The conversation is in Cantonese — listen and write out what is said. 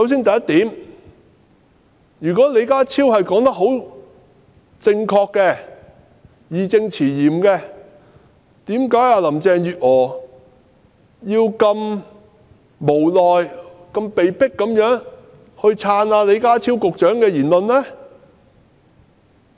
第一，如果李家超所言甚是，是義正詞嚴的，為何林鄭月娥聽起來彷如是無奈地被迫支持李家超局長的說法呢？